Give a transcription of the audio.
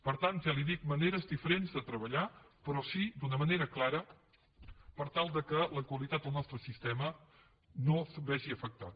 per tant ja li ho dic maneres diferents de treballar però sí d’una manera clara per tal que la qualitat del nostre sistema no es vegi afectada